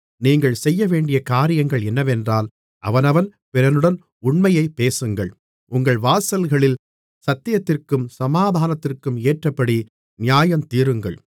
நீங்கள் செய்யவேண்டிய காரியங்கள் என்னவென்றால் அவனவன் பிறனுடன் உண்மையைப் பேசுங்கள் உங்கள் வாசல்களில் சத்தியத்திற்கும் சமாதானத்திற்கும் ஏற்றபடி நியாயந்தீருங்கள்